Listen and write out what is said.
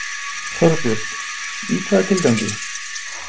Þorbjörn: Í hvaða tilgangi?